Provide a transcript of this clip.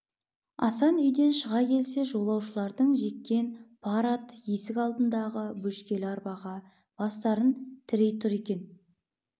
асан үйден шыға келсе жолаушылардың жеккен пар аты есік алдындағы бөшкелі арбаға бастарын тірей тұр екен